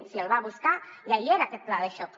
si el va buscar ja hi era aquest pla de xoc